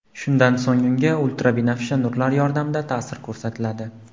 Shundan so‘ng unga ultrabinafsha nurlar yordamida ta’sir ko‘rsatiladi.